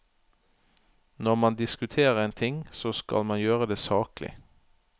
Når man diskuterer en ting, så skal man gjøre det saklig.